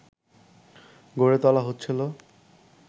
গড়ে তোলা হচ্ছিল